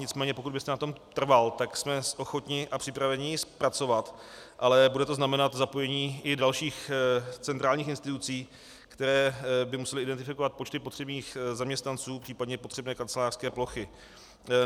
Nicméně pokud byste na tom trval, tak jsme ochotni a připraveni ji zpracovat, ale bude to znamenat zapojení i dalších centrálních institucí, které by musely identifikovat počty potřebných zaměstnanců, případně potřebné kancelářské plochy.